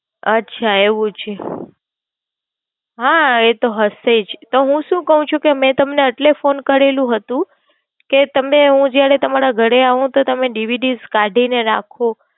અચ્છા, એવું છે, હા એતો હશે જ. તો હું શું કવ છું કે મેં તમને એટલે Phone કરેલુ હતું કે તમે હું જયારે તમારા ઘરે એવું તો તમે DVD કાઢી ને રાખો.